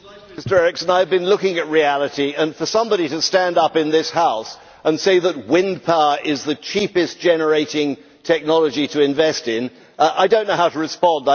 Mr Eriksson, I have been looking at reality, and when somebody stands up in this House and says that wind power is the cheapest generating technology to invest in, I do not know how to respond.